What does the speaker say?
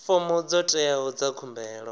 fomo dzo teaho dza khumbelo